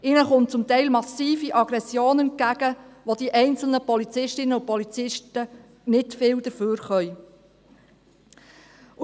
Es kommt ihnen zum Teil massive Aggression entgegen, wobei die einzelnen Polizistinnen und Polizisten nicht viel dafürkönnen.